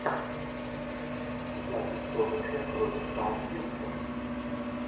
запись тоттенхэм против саутгемптон